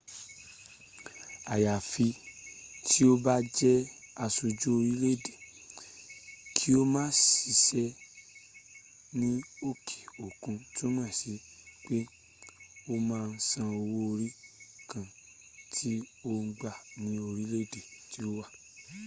àyàfi tí o bá jẹ́ aṣojú orílẹ̀ èdè kí o ma ṣiṣẹ́ ní òkè òkun túmọ̀ sí pé o ma san owó orí ǹkan tí ò ń gbà ní orílẹ̀ èdè tí o wà